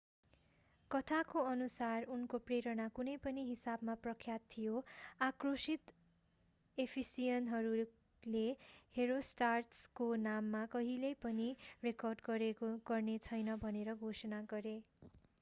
कथाको अनुसार उनको प्रेरणा कुनै पनि हिसाबमा प्रख्यात थियो आक्रोशित एफिसियनहरूले हेरोस्ट्राटसको नाम कहिल्यै पनि रेकर्ड गरिने छैन भनेर घोषणा गरे